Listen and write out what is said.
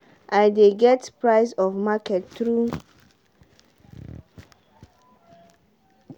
i dey get price of market through one farming app wey dey dey my phone.